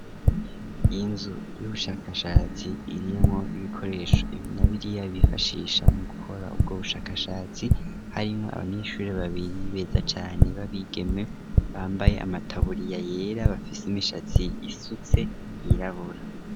Inzu y'ubushakashatsi irimwo ibikoresho ibi na biriya bifashisha mu gukora ubwo bushakashatsi harimwo abanyeshure babiri beza cane babigeme bambaye amataburiya yera bafise imishatsi isutse yirabura.